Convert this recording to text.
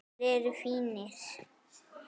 Þeir eru fínir.